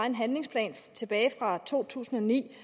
en handlingsplan tilbage fra to tusind og ni